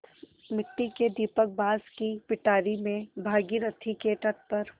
मिट्टी का दीपक बाँस की पिटारी में भागीरथी के तट पर